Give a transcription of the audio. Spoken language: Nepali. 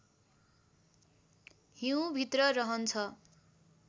हिउँभित्र रहन्छ